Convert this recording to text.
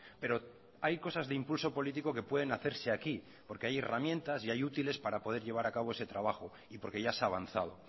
pero hay cosas de impulso político que pueden hacerse aquí porque hay herramientas y hay útiles para poder llevar a cabo ese trabajo y porque ya se ha avanzado